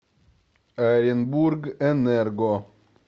оренбургэнерго